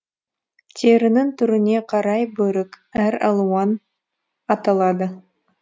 терінің түріне қарай бөрік әр алуан аталады